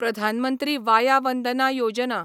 Pradhan Mantri Vaya Vandana Yojana